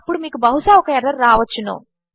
అప్పుడు మీకు బహుశా ఒక ఎర్రర్ రావచ్చును